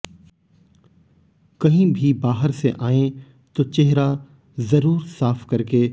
कहीं भी बाहर से आएं तो चेहरा जरूर साफ करके